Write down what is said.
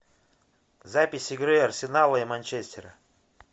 запись игры арсенала и манчестера